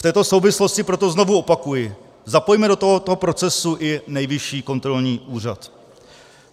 V této souvislosti proto znovu opakuji, zapojme do tohoto procesu i Nejvyšší kontrolní úřad.